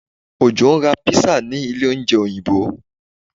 Ojó ń ra pizza ní ilé oúnjẹ Òyìnbó